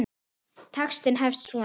Textinn hefst svona